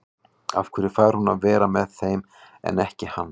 Af hverju fær hún að vera með þeim en ekki hann?